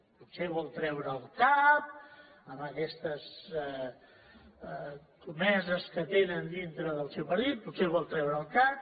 potser vol treure el cap en aquestes escomeses que tenen dintre del seu partit potser vol treure el cap